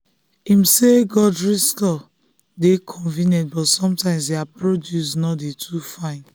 him say grocery store dey convenient but sometimes their produce no dey too fine.